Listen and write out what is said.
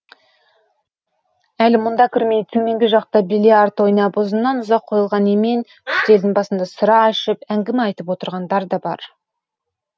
әлі мұнда кірмей төменгі жақта биллиард ойнап ұзыннан ұзақ қойылған емен үстелдің басында сыра ішіп әңгіме айтып отырғандар да бар